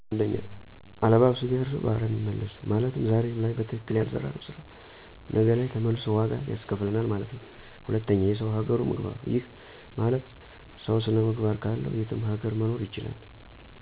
1. አለባብሰው ቢያርሱ በአረም ይመልሱ !! ማለትም ዛሬ ላይ በትከክል ያለሰራነው ስራ ነገ ለይ ተመልሶ ዋጋ ያስከፍለናል ማለት ነው። 2. የሰው ሀገሩ ምግባሩ !! ይህ ማለት ሰው ስነ ምግባር ካለው የትም ሀገር መኖር ይችላል